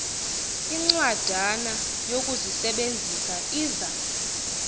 incwadana yokuzisebenzisa iza